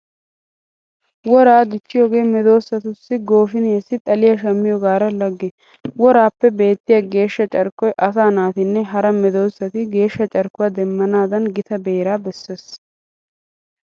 Woraa dichchiyogee medoosatu goofiniyassi xaliya shammiyogaara lagge. Woraappe beettiya geeshsha carkkoy asaa naatinne hara meedoosati geeshsha carkkuwa demmanaadan gita beeraa bessees.